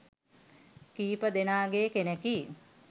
කිහිප දෙනාගෙන් කෙනෙකි.